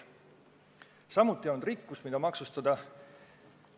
Samuti ei olnud rikkust, mida maksustada.